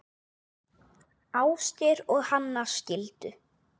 Ásgeir og Hanna skildu.